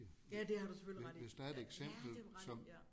Ja det har du selvfølgelig ret i ja det har du ret i ja